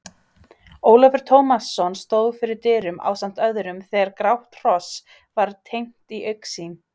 Ólafur Tómasson stóð fyrir dyrum ásamt öðrum þegar grátt hross var teymt í augsýn.